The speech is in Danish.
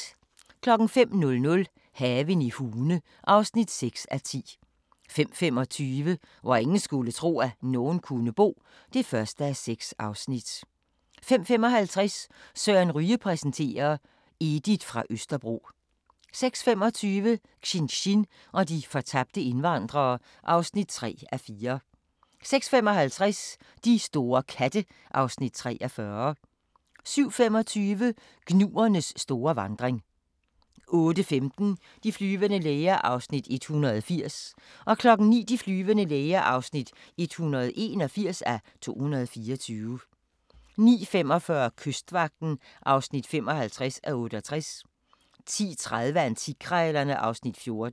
05:00: Haven i Hune (6:10) 05:25: Hvor ingen skulle tro, at nogen kunne bo (1:6) 05:55: Søren Ryge præsenterer: Edith fra Østerbro 06:25: Xinxin og de fortabte indvandrere (3:4) 06:55: De store katte (Afs. 43) 07:25: Gnuernes store vandring 08:15: De flyvende læger (180:224) 09:00: De flyvende læger (181:224) 09:45: Kystvagten (55:68) 10:30: Antikkrejlerne (Afs. 14)